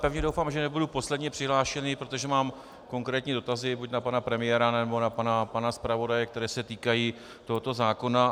Pevně doufám, že nebudu poslední přihlášený, protože mám konkrétní dotazy buď na pana premiéra, nebo na pana zpravodaje, které se týkají tohoto zákona.